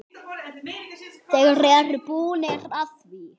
Þeir eru búnir að því.